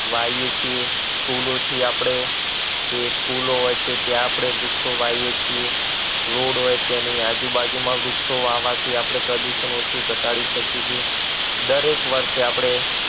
વાવીએ છીએ school થી આપણે જે school હોય ત્યાં આપણે વ્રુક્ષો વાઈએ છીએ રોડ હોય તેની આજુબાજુમાં વૃક્ષો વાવવાથી આપણે પ્રદૂષણ ઓછું ઘટાડી શકે છે દરેક વર્ષે આપણે